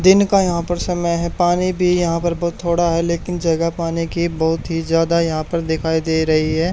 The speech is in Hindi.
दिन का यहां पर समय है पानी भी यहां पर बहुत थोड़ा है लेकिन जगह पाने की बहुत ही ज्यादा यहां पर दिखाई दे रही है।